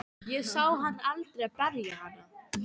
Ég sá hann aldrei berja hana.